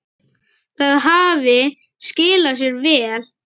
Það hafi skilað sér vel.